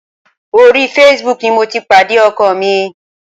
Orí Facebook ni mo ti pàdé ọkọ mi.